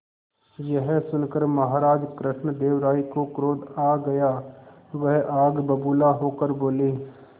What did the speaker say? यह सुनकर महाराज कृष्णदेव राय को क्रोध आ गया वह आग बबूला होकर बोले